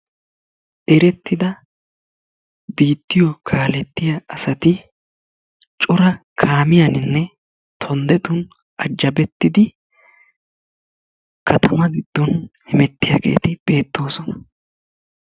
Erettida biittayo kaalettiya asati cora kaamiyaninne tonddetun ajjabettidi katama giddon hemettiyaageeti beettoosona.